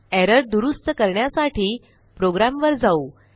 error दुरूस्त करण्यासाठी प्रोग्रॅमवर जाऊ